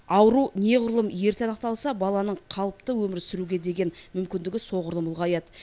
ауру неғұрлым ерте анықталса баланың қалыпты өмір сүруге деген мүмкіндігі соғұрлым ұлғаяды